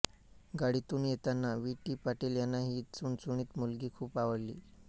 गाडीतून येताना V T Patil यांना ही चुणचुणीत मुलगी खूप आवडली